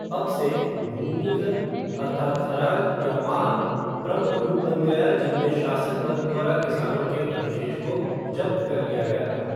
अब से, भूमि कर अर्थात् ख़राज या माल, प्रमुख रूप बन गया जिनमे शासक वर्ग द्वारा किसानों के अधिशेष को ज़ब्त कर लिया गया था।